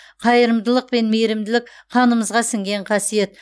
қайырымдылық пен мейірімділік қанымызға сіңген қасиет